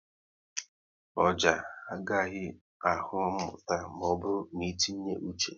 Ọjà à ghaghị ahụ mmụta maọbụru n'itinye uche